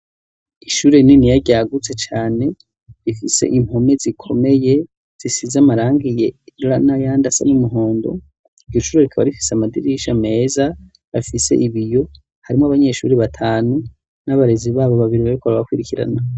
Ishure rininiya ryagutse cane, rifise impome zikomeye zisize amarangi yera n'ayandi asa n'umuhondo, iryo shure rikaba rifise amadirisha meza afise ibiyo, harimwo abanyeshure batanu n'abarezi babo babiri bariko barabakurikirana.